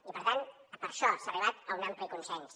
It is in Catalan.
i per tant per això s’ha arribat a un ampli consens